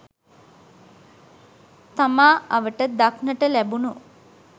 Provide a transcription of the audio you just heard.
තමා අවට දක්නට ලැබුණු